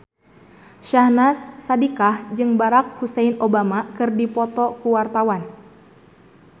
Syahnaz Sadiqah jeung Barack Hussein Obama keur dipoto ku wartawan